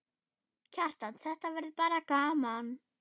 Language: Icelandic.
Kjartan: Þetta verður bara gaman?